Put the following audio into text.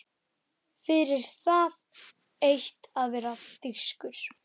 Fyrir það eitt að vera þýskur.